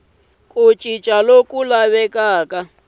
na ku cinca loku laviwaka